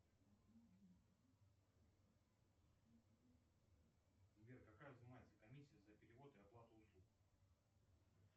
сбер какая взимается комиссия за перевод и оплату услуг